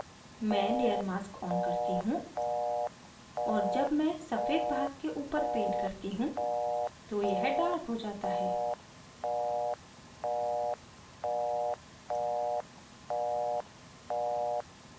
मैं layer mask on करती हूँ और जब मैं सफ़ेद भाग के ऊपर paint करती हूँ तो यह darker हो जाता है